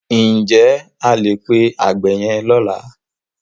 Ǹ jẹ́ o máa pe àgbẹ̀ yẹn lọ́la?